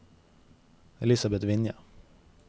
Elisabet Vinje